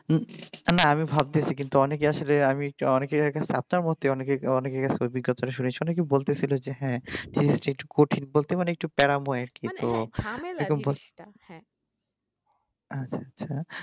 উম না আমি ভাবতেছি কিন্তু অনেকেই আসলে অনেকে বলতেছিলো যে হ্যাঁ একটু কঠিন একটু প্যারাময় আর কি